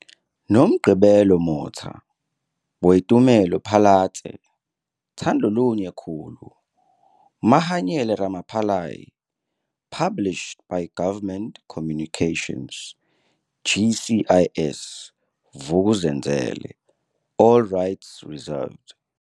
Nomgcibelo Motha - Boitumelo Phalatse, Thandolunye Khulu - Mahanyele Ramapalais published by Government Communications, GCIS, Vuk'uzenzele. All rights reserved.